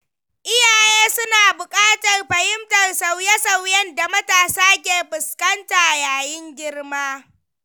Iyaye suna bukatar fahimtar sauye-sauyen da matasa ke fuskanta yayin girma.